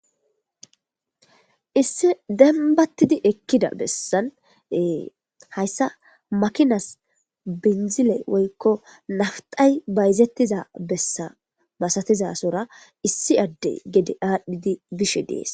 issi dembattidi ekkida bessan ee hayssa makinas binzile woykko naftay bayzettiza bessa masatizasora issi adde gede aadhdhidi bishe dees